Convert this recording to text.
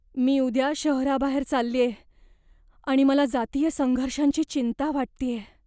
मी उद्या शहराबाहेर चाललेय आणि मला जातीय संघर्षांची चिंता वाटतेय.